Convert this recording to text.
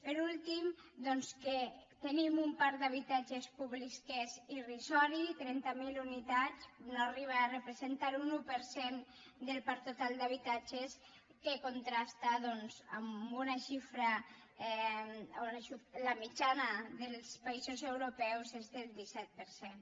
per últim doncs que tenim un parc d’habitatges públics que és irrisori trenta mil unitats no arriba a representar un un per cent del parc total d’habitatges que contrasta doncs amb una xifra la mitjana dels països europeus és del disset per cent